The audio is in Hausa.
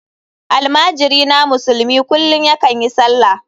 Almajirina musulmi kullum yakan yi sallah.